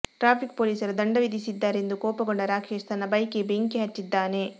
traffic ಪೊಲೀಸರು ದಂಡ ವಿಧಿಸಿದ್ದಾರೆ ಎಂದು ಕೋಪಗೊಂಡ ರಾಕೇಶ್ ತನ್ನ ಬೈಕಿಗೆ ಬೆಂಕಿ ಹಚ್ಚಿದ್ದಾನೆ